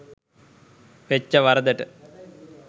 වෙච්ච වරදට.